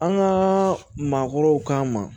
An ka maakɔrɔw k'an ma